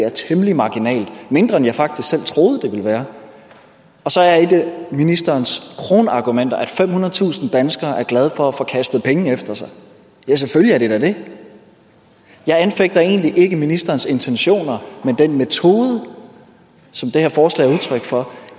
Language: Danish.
er temmelig marginal mindre end jeg faktisk selv troede den ville være og så er et af ministerens kronargumenter at femhundredetusind danskere er glade for at få kastet penge efter sig ja selvfølgelig er de da det jeg anfægter egentlig ikke ministerens intentioner men den metode som det her forslag er udtryk for